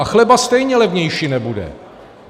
A chleba stejně levnější nebude.